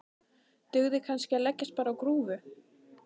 Dugði kannski að leggjast bara á grúfu?